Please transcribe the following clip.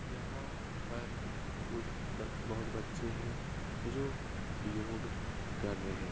यहाँ पर कुछ बच बहुत बच्चे हैं जो योग कर रहें --